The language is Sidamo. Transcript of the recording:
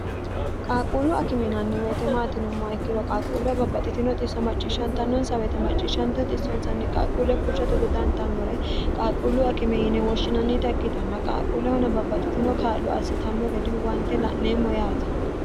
qaaquullu akiminanni weyite maatinummoa ikkiro qaaquulleho babbaxxitino xisso macciishshantannonsa weyite macciishshantiho xissonsanni qaaquulle fushshato dodantannore qaaquullu akime yine woshshinannita ikkitanna qaaquullehuna babbaxxitino kaallu assitanno gede huwante la'neemmo yaate